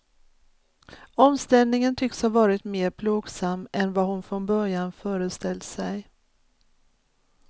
Omställningen tycks ha varit mer plågsam än vad hon från början föreställt sig.